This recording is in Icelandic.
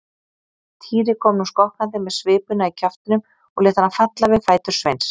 Týri kom nú skokkandi með svipuna í kjaftinum og lét hana falla við fætur Sveins.